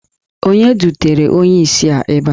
Onye dutere onye isi a ebe a?